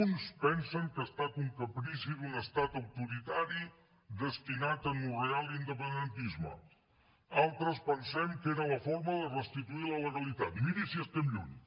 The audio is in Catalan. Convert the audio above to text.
uns pensen que ha estat un caprici d’un estat autoritari destinat a anorrear l’independentisme altres pensem que era la forma de restituir la legalitat miri si estem lluny